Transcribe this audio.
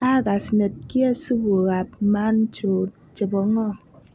Agas nedkie supukab Manchow chebo ngo